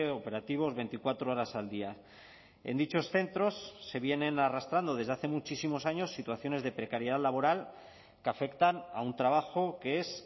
operativos veinticuatro horas al día en dichos centros se vienen arrastrando desde hace muchísimos años situaciones de precariedad laboral que afectan a un trabajo que es